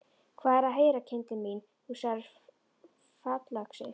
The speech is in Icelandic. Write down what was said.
Hvað er að heyra, kindin mín, þú sagðir fallöxi.